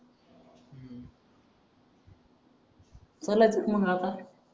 चालायचं का मंग आता